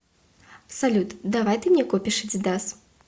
салют давай ты мне купишь адидас